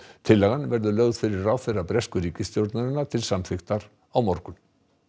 tillagan verður lögð fyrir ráðherra bresku ríkisstjórnarinnar til samþykktar á morgun